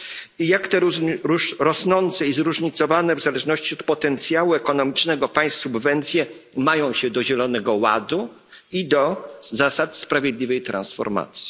I jak te rosnące i zróżnicowane w zależności od potencjału ekonomicznego państw subwencje mają się do Zielonego Ładu i do zasad sprawiedliwej transformacji?